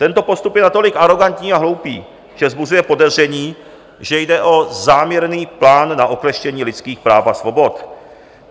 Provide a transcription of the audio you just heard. Tento postup je natolik arogantní a hloupý, že vzbuzuje podezření, že jde o záměrný plán na okleštění lidských práv a svobod."